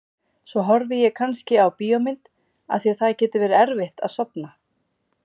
Svo horfi ég kannski á bíómynd af því að það getur verið erfitt að sofna.